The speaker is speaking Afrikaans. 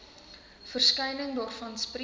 verskyning daarvan spreek